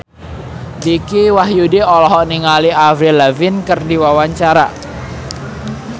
Dicky Wahyudi olohok ningali Avril Lavigne keur diwawancara